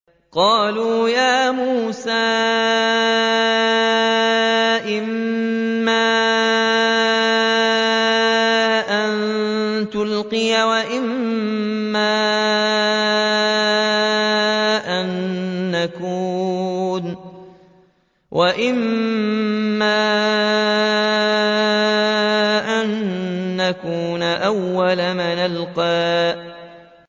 قَالُوا يَا مُوسَىٰ إِمَّا أَن تُلْقِيَ وَإِمَّا أَن نَّكُونَ أَوَّلَ مَنْ أَلْقَىٰ